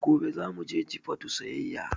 Gobe zamu je Jifatu siyayya